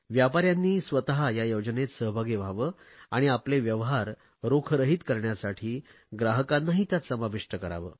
व्यापाऱ्यांनी स्वत या योजनेत सहभागी व्हावे आणि आपले व्यवहार रोखरहित करण्यासाठी ग्राहकांनाही त्यात समाविष्ट करावे